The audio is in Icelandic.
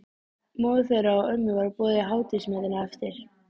Móður þeirra og ömmu var boðið í hádegismatinn á eftir.